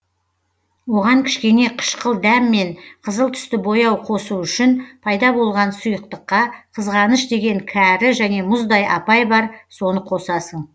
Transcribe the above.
оған кішкене қышқыл дәм мен қызыл түсті бояу қосу үшін пайда болған сұйықтыққа қызғаныш деген кәрі және мұздай апай бар соны қосасың